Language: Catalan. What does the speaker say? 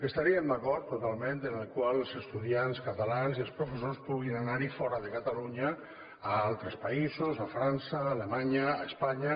estaríem d’acord totalment que els estudiants catalans i els professors puguin anar fora de catalunya a altres països a frança alemanya a espanya